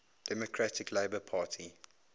democratic labour party